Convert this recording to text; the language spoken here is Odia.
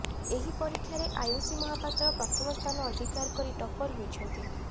ଏହି ପରୀକ୍ଷାରେ ଆୟୁଷି ମହାପାତ୍ର ପ୍ରଥମସ୍ଥାନ ଅଧିକାର କରି ଟପ୍ପର ହୋଇଛନ୍ତି